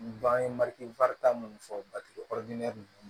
N ban ye mali minnu fɔ ninnu